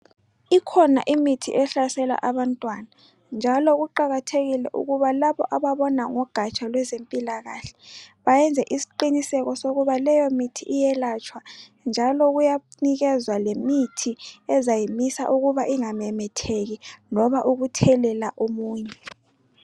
Ikhona imithi ehlasela abantwana njalo kuqakathekile ukuthi laba ababona ngogatsha lwezempila kahle bayenze isiqiniseko sokuba leyo mithi iyelatshwa njalo kuyanikezwa lemithi ezayi misa ukuba ingamemetheki loba ukuthelela omunye.